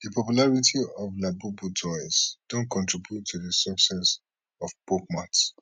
di popularity of labubu toys don contribute to di success of pop mart